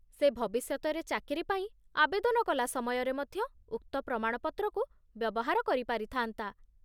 ସେ ଭବିଷ୍ୟତରେ ଚାକିରି ପାଇଁ ଆବେଦନ କଲା ସମୟରେ ମଧ୍ୟ ଉକ୍ତ ପ୍ରମାଣପତ୍ରକୁ ବ୍ୟବହାର କରିପାରିଥା'ନ୍ତା।